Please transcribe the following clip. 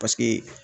Paseke